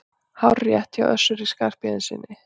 Hárrétt hjá Össuri Skarphéðinssyni!